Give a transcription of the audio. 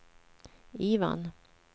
Ivan